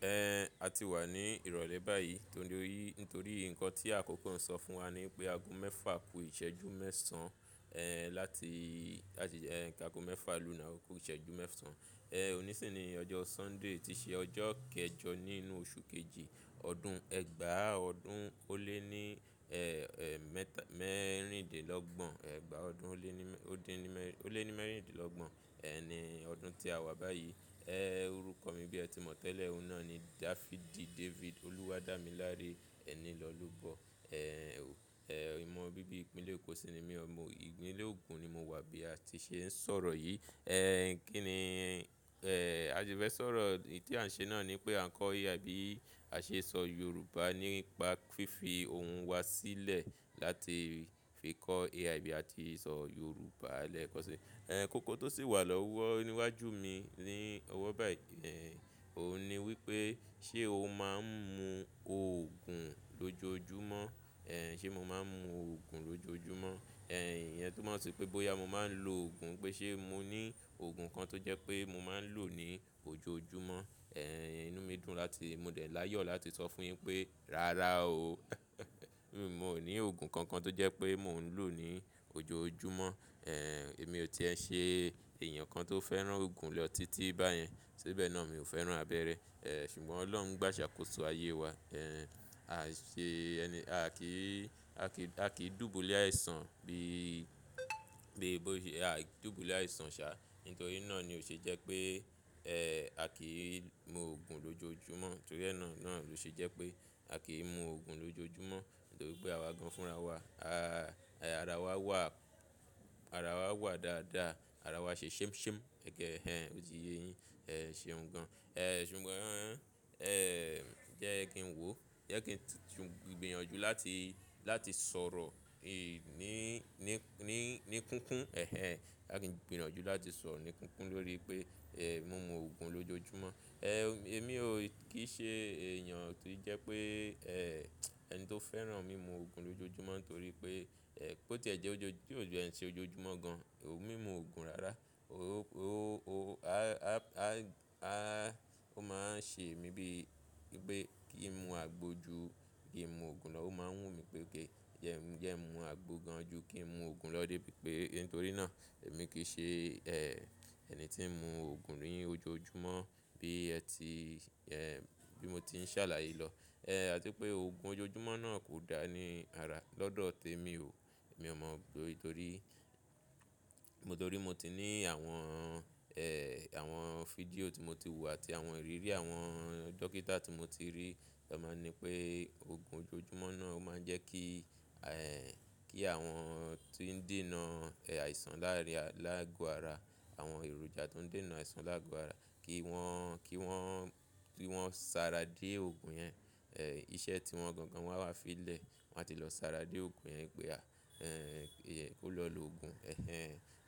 Ẹn, a ti wà ní ìrọ̀lẹ́ báyìí torí nítorí nǹkan tí àkókò ń sọ fún wa ní pé ago mẹ́fa ku ìṣẹ́jú mẹ́san, láti, ki ago mẹ́fa lòna oku ìṣẹ́jú mẹ́ṣàn òní sì ni ọjọ́ Sunday tí ṣe ọjọ́ kẹjọ nínú oṣù kejì ọdún ẹgbàá ọdún ó lé ní, mẹ́ta, mẹ́rìndínlọ́gbọ̀n. Ẹ̀gbàá ọdún ó lé ní mẹ́, ó dín ní mẹ́rin, ó lé ní mẹ́rìndínlọ́gbọ̀n, ẹ́n, ni ọdún tí a wà báyìí. Orúkọ mi bí ẹ ti mọ̀ tẹ́lẹ̀ ọ̀un na ni Dáfídì David. Olúwa dámiláre ẹni lọ́'lobọ. Ẹ́n, ò, ẹ́, ìmọ̀ bíbí ìpínlẹ̀ Èkó sì ni mí. Ọmọ ìpínlẹ̀ Ogun ni mo wà bí a ti ṣe ń sọ̀rọ̀ yìí. Kí ni, a si fẹ́ sọ̀rọ̀, èyí tí à ń ṣe náà ní pé à ń kọ́ AI bí a ṣe sọ Yorùbá nípa fífi ohun wá sílẹ̀ láti fi kọ́ AI bí a ti sọ Yorùbá lẹ́kọ̀ọ́ sí. Kókó tó sì wà lọ́wọ́ níwájú mi ní ọwọ́ báyìí, òun ni wípé ṣé o máa ń mu òògùn lójoojúmọ́? Ẹ́n, ṣé mo máa ń mu òògùn lójoojúmọ́? Iyen túnmọ̀ ṣi pé bóyá mo máa ń lo òògùn pé ṣé mo ní òògùn kan tó jẹ́ pé mo máa ń lò ó ní ojoojúmọ́. Inú mi dùn láti, mo dẹ̀ l'áyọ̀ láti sọ fún yín pé "rárá o". Mo ní òògùn kankan tó jẹ́ pé mo ń lò ó ní ojoojúmọ́. Èmi ò ti ẹ ṣe èèyàn kan tó fẹ́ràn òògùn lotiti báyẹn. Ṣibe na mio fẹ́ràn abere ṣùgbọ́n Ọlọ́run gbà ṣàkóso ayé wa. A ṣe ẹni, a kì í, a kì í, a kì í dùbúlẹ̀ àìsàn bí i, bí i bóyá a dùbúlẹ̀ àìsàn ṣá. Nítorí náà ni ó ṣe jẹ́ pé, a kì í mu òògùn lójoojúmọ́. Nítorí ẹ́ náà ló ṣe jẹ́ pé a kì í mu òògùn lójoojúmọ́. Nítorí pé àwa gan fúnra wa. Àrà wa wà, àrà wa wà dáadáa. Àrà wa ṣe ṣẹmṣẹm. Ẹ̀kẹ ẹ́n, o ti ye yín. Ẹ̀ ṣeun gan. Ṣùgbọ́n jẹ́ kí n wò. Jẹ́ kí n gbinyànjú láti, láti sọ̀rọ̀ ì ní, ní, ní, ní kúnkún. Ẹ̀hẹn, boya kí n gbìyànjú láti sọ̀rọ̀ ní kúnkún lórí pé, mu mu òògùn lójoojúmọ́. Èmi ò kì í ṣe èèyàn tó jẹ́ pé, ẹni tó fẹ́ràn mímu òògùn lójoojúmọ́. Nítorí pé, bó ti jẹ́ ojó, bí òjò ẹ ń ṣe ojoojúmọ́ gan, ò mú ìmu òògùn rárá. O, o, o, a, a, a, a, ó máa ń ṣe mí bí i pé kí n mu àgbo ju kí i mú òògùn lọ. Ó máa ń wù mí pé gé, jẹ́ ẹ mú àgbo gan ju kí n mu òògùn lọ dé bí i pé nítorí náà èmi kì í ṣe, ẹni tí ń mu òògùn ní ojoojúmọ́ bí ẹ ti, bí mo ti ń ṣàlàyé lọ. Àti pé òògùn ojoojúmọ́ náà kò dáa ní ara lọ́dọ̀ tèmi o. Mi ò mọ̀ nítorí, nítorí mo ti ní àwọn, àwọn fídíò tí mo ti wò àti àwọn ìrírí àwọn dókítà tí mo ti rí. Tan máa ń ní pé òògùn ojoojúmọ́ náà ó máa ń jẹ́ kí, kí àwọn ti ń dènà àìsàn láàrin, láàgò ara, àwọn èròjà tó ń dènà àìsàn láàgò ara kí wọ́n, kí wọ́n, kí wọ́n sára dé òògùn yẹn. Iṣẹ́ tí wọ́n gangan wà n wá fi lẹ̀. Wọn á ti lọ sáré dé òògùn yẹn pé a, ko lọ lò òògùn. Ẹ̀hẹn,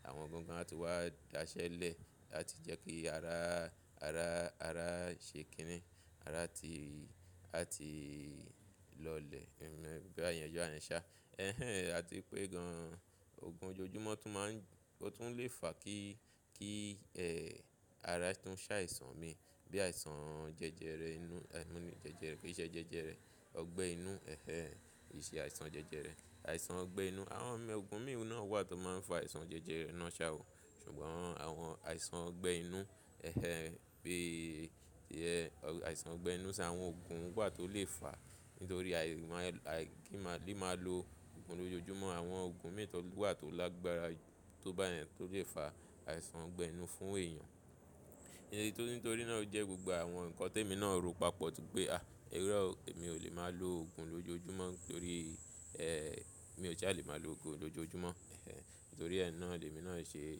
àwọn gangan á ti wá daṣẹ́lẹ̀ láti jẹ́ kí ara, ara, ara ṣe kìíní. Ara ti, ara ti lọlẹ̀. Gbogbo ẹ̀yàn ju àyà ń sá. Ẹ̀hẹn, àti pé gan-an òògùn ojoojúmọ́ tún máa ń, ó tún lè fà kí, kí, ara tuń ṣàìsàn mi bí i àìsàn jẹjẹrẹ inú, mo ní jẹjẹrẹ kiṣẹ́ jẹjẹrẹ ọgbẹ́ inú. Ẹ̀hẹn, kìṣe àìsàn jẹjẹrẹ, àìsàn ọgbẹ́ inú. Àwọn ọ̀gùn mìí na wà tó máa ń fà àìsàn jẹjẹrẹ náà ṣa o. Ṣùgbọ́n àwọn àìsàn ọgbẹ́ inú, ẹ́hẹn, pé, àìsàn ọgbẹ́ inú ṣa àwọn òògùn wà tó lè fà á. Nítorí àì máa, àì kí máa, kí máa lo òògùn lójoojúmọ́. Àwọn òògùn mìí wà tó lágbára tó báyẹn tó lè fà àìsàn ọgbẹ́ inú fún èèyàn. Nítorí náà ó jẹ́ gbogbo àwọn nǹkan tí èmi náà ro papọ̀ pé, "à, iro o, èmi ò lè máa lo òògùn lójoojúmọ́." Nítorí, mi ò ṣa lè máa lo òògùn lójoojúmọ́. Ẹ̀hẹn, nítorí ẹ́ náà ni èmi náà ṣe,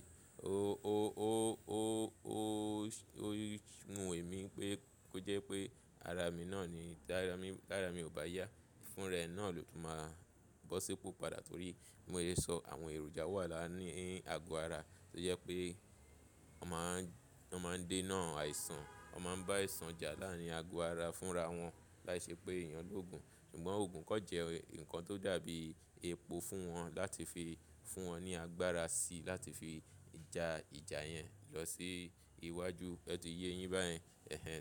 o, o, o, o, o, o wùn emí pé kó jẹ́ pé ara mi náà ni, tí ara mi, tí ara mi ò bá yá fún rẹ náà ló tún máa bọ́ sípò padà. Nítorí bí mo se sọ àwọn èròjà wà láàárín àgò ara tó jẹ́ pé wọ́n máa ń, wọ́n máa ń dènà àìsàn. Wọ́n máa ń bá àìsàn jà láàrin àgò ara fúnra wọn láì ṣe pé èèyàn lò òògùn. Ṣùgbọ́n òògùn kọ̀ jẹ́ nǹkan tó dàbí epo fún wọn láti fi fún wọn ní agbára sí i láti fi ja ìjà yẹn lọ sí iwájú. O ti ye yín báyẹn. Ẹ̀hẹn.